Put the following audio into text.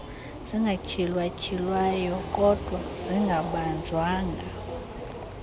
zingatyhilwatyhilwayo kokdwa zingabanjwanga